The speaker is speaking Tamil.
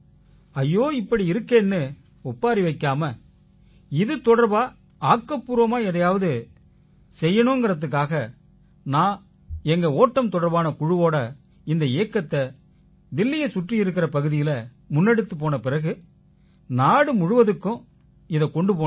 ஐயோ இப்படி இருக்கேன்னு ஒப்பாரி வைக்காம இது தொடர்பா ஆக்கப்பூர்வமா எதையாவது செய்யணுங்கறதுக்காக நான் எங்க ஓட்டம் தொடர்பான குழுவோட இந்த இயக்கத்தை தில்லியைச் சுற்றியிருக்கற பகுதியில முன்னெடுத்துப் போன பிறகு நாடு முழுவதுக்கும் இதைக் கொண்டு போனேன்